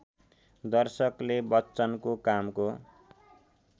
दर्शकले बच्चनको कामको